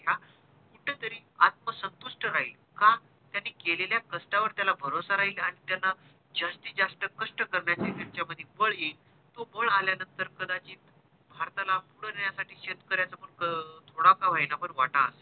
राहील का त्यांनी केलेल्या कष्टा वर भरोसा राहील आणि त्याला जस्तीत जास्त कष्ट करण्याचे त्यांचामध्ये बळ येईल तो बळ आल्यानंतर कदाचित भारताला पुढे नेण्यासाठी शेतकऱ्याचं पण थोडा का होईना वाटा असेल